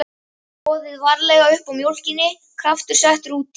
Soðið varlega uppá mjólkinni, kraftur settur út í.